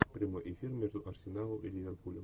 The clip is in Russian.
прямой эфир между арсеналом и ливерпулем